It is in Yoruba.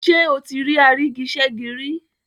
Ṣé o ti rí àrígiṣẹ́gi rí?